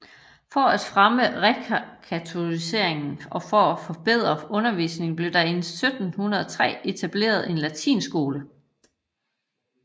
For at fremme rekatoliseringen og for at forbedre undervisning blev der i 1703 etableret en latinskole